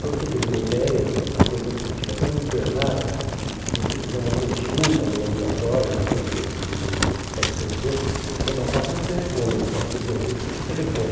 Para você ter uma ideia, a coisa fica tão emperrada que se você quiser uma consulta no ambulatório do servidor do do hospital do servidor, você precisa marcar por telefone, não pode ser coisa, tem que ser por telefone.